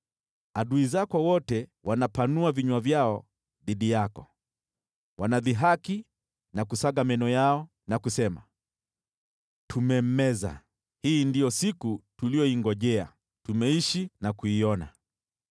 Adui zako wote wanapanua vinywa vyao dhidi yako, wanadhihaki na kusaga meno yao na kusema, “Tumemmeza. Hii ndiyo siku tuliyoingojea, tumeishi na kuiona.”